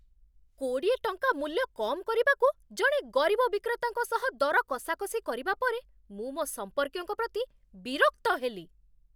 କୋଡ଼ିଏ ଟଙ୍କା ମୂଲ୍ୟ କମ୍ କରିବାକୁ ଜଣେ ଗରିବ ବିକ୍ରେତାଙ୍କ ସହ ଦର କଷାକଷି କରିବା ପରେ ମୁଁ ମୋ ସମ୍ପର୍କୀୟଙ୍କ ପ୍ରତି ବିରକ୍ତ ହେଲି।